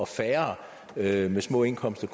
færre med små indkomster